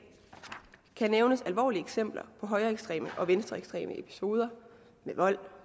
kan nævnes alvorlige eksempler på højreekstreme og venstreekstreme episoder med vold